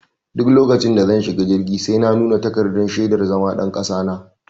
Duk lokacin da zan shiga jirgi sai na nuna takardar shaidar zama ɗan kasa na.